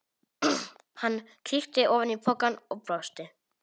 Hann kíkti ofan í pokann og brosti.